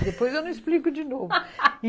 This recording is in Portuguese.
Depois eu não explico de novo